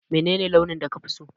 Menene launin da kafi so?